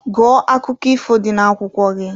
Gụọ akụkọ ifo dị n'akwụkwọ gị!